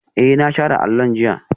Ee, na share allon jiya